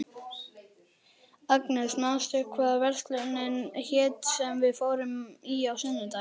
Edda Sveinsdóttir: Harkaleg?